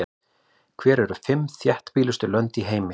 Hver eru fimm þéttbýlustu lönd í heimi?